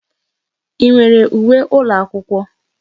I nwere uwe ụlọakwụkwọ?